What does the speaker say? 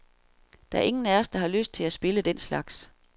Der er ingen af os, der har lyst til at spille den slags.